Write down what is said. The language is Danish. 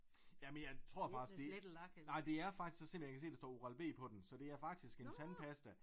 Jamen jeg tror faktisk det nej det er faktisk selvom jeg kan se der står Oral B på den så det er faktisk en tandpasta